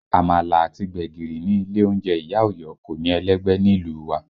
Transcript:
Àmàlà àti gbẹ̀gìrì ní ilé oúnjẹ ìyá Ọ̀yọ́ kò ní ẹlẹ́gbẹ́ nílùú wa